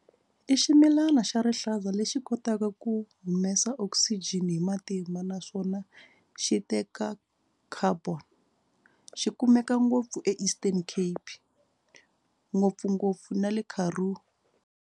I ximilana xa rihlaza lexi kotaka ku humesa oxygen hi matimba naswona xi teka carbon xi kumeka ngopfu Eastern Cape ngopfungopfu na le Karoo.